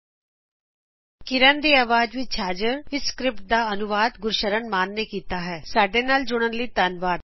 ਇਹ ਸਕਰਿਪਟ ਗੁਰਸ਼ਰਨ ਸ਼ਾਨ ਦਵਾਰਾ ਅਨੁਵਾਦਿਤ ਹੈ ਸਾਡੇ ਨਾਲ ਜੁੜਨ ਲਈ ਧੰਨਵਾਦ